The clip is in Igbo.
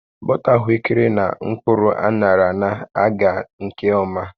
Bọta ahụekere na mkpụrụ aṅarana-aga nke ọma